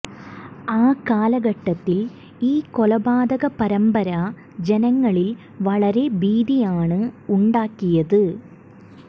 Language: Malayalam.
ആ കാലഘട്ടത്തിൽ ഈ കൊലപാതക പരമ്പര ജനങ്ങളിൽ വളരെ ഭീതിയാണ് ഉണ്ടാക്കിയത്